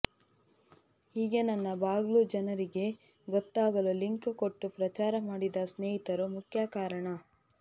ಹೀಗೆ ನನ್ನ ಬ್ಲಾಗು ಜನರಿಗೆ ಗೊತ್ತಾಗಲು ಲಿಂಕ್ ಕೊಟ್ಟು ಪ್ರಚಾರ ಮಾಡಿದ ಸ್ನೇಹಿತರು ಮುಖ್ಯ ಕಾರಣ